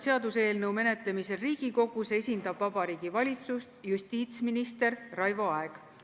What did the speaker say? Seaduseelnõu menetlemisel Riigikogus esindab Vabariigi Valitsust justiitsminister Raivo Aeg.